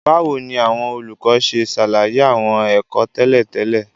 Báwo ni àwọn olùkọ́ ṣe ṣàlàyé àwọn ẹ̀kọ́ tẹ́lẹ̀ tẹ́lẹ̀?